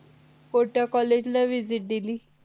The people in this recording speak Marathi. कोणत्या college ला visit दिली